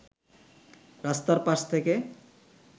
রাস্তার পাশ থেকে